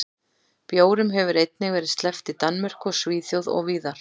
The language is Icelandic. Bjórum hefur einnig verið sleppt í Danmörku og Svíþjóð og víðar.